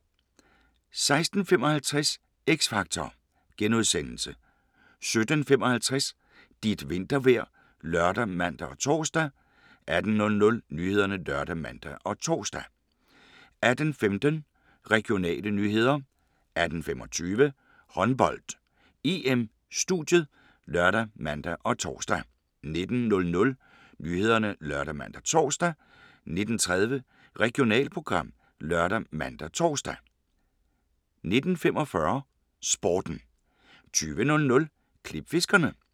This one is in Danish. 16:20: Fantastiske hammerslag (Afs. 2) 16:55: X Factor * 17:55: Dit vintervejr ( lør, man, tor) 18:00: Nyhederne ( lør, man, tor) 18:15: Regionale nyheder 18:25: Håndbold: EM - studiet ( lør, man, tor) 19:00: Nyhederne ( lør, man, tor) 19:30: Regionalprogram ( lør, man, tor) 19:45: Sporten 20:00: Klipfiskerne